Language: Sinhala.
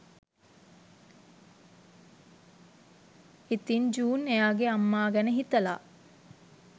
ඉතින් ජූන් එයාගෙ අම්මා ගැන හිතලා